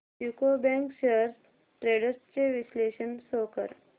UCO bank shares trends चे विश्लेषण show कर